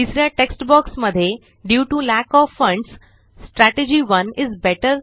तिसऱ्या text box मध्ये due TO lack OF funds strategy 1 is better